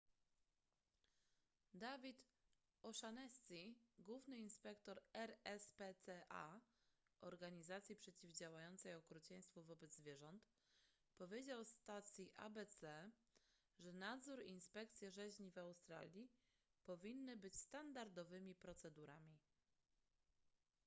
david o'shannessy główny inspektor rspca organizacji przeciwdziałającej okrucieństwu wobec zwierząt powiedział stacji abc że nadzór i inspekcje rzeźni w australii powinny być standardowymi procedurami